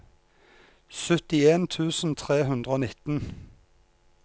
syttien tusen tre hundre og nitten